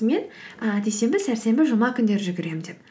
мен ы дүйсенбі сәрсенбі жұма күндері жүгіремін деп